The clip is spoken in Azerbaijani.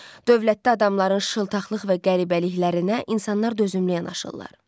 Dövlətdə adamların şıltaqlıq və qəribəliklərinə insanlar dözümlü yanaşırlar.